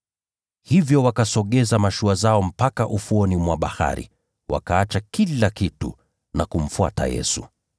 Hivyo wakasogeza mashua zao mpaka ufuoni mwa bahari, wakaacha kila kitu na kumfuata.